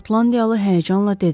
Şotlandiyalı həyəcanla dedi.